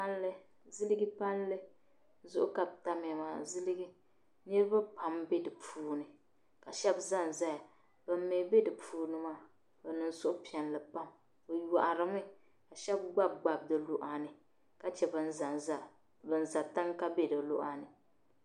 Palli, ziliji palli zuɣu ka bɛ tami ya maa, ziliji, niriba pam n be di puuni maa, bɛ niŋ suhupiɛlli pam bɛ shɛba gbangba di luɣa ni ka che za n za tiŋa di luɣa ni.